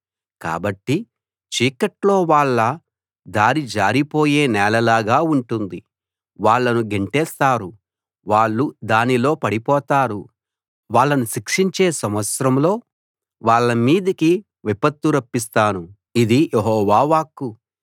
కాబట్టి చీకట్లో వాళ్ళ దారి జారిపోయే నేలలాగా ఉంటుంది వాళ్ళను గెంటేస్తారు వాళ్ళు దానిలో పడిపోతారు వాళ్ళను శిక్షించే సంవత్సరంలో వాళ్ళ మీదికి విపత్తు రప్పిస్తాను ఇది యెహోవా వాక్కు